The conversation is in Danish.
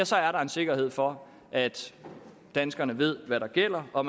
så er der en sikkerhed for at danskerne ved hvad der gælder og